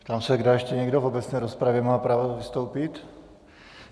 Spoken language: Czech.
Ptám se, zda ještě někdo v obecné rozpravě má právo vystoupit.